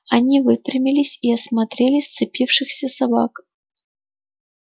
они выпрямились и осмотрели сцепившихся собак